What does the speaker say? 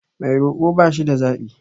Mai roko ba shida zaɓi.